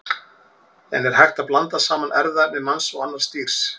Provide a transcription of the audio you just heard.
En er hægt að blanda saman erfðaefni manns og annars dýrs?